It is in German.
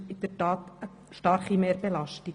Das ist in der Tat eine starke Mehrbelastung.